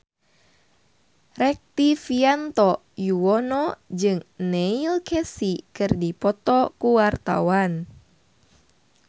Rektivianto Yoewono jeung Neil Casey keur dipoto ku wartawan